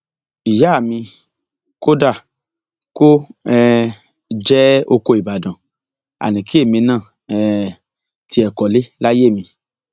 ìyáa mi kódà kó um jẹ ọkọ ìbàdàn àní kí èmi náà um tiẹ kọlé láyé mi